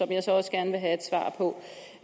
jeg så også gerne vil have